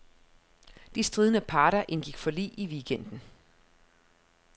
De stridende parter indgik forlig i weekenden.